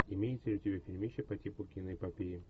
имеется ли у тебя фильмище по типу киноэпопеи